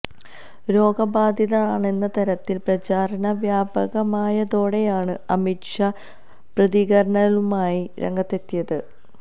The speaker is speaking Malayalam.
രോഗബാധിതനാണെന്ന തരത്തിൽ പ്രചാരണം വ്യാപകമായതോടെയാണ് അമിത് ഷാ പ്രതികരണലുമായി രംഗത്തെത്തിയത്